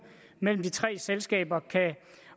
mellem de tre selskaber kan